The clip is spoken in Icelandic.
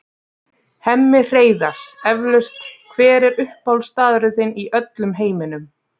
Hemmi Hreiðars eflaust Hver er uppáhaldsstaðurinn þinn í öllum heiminum?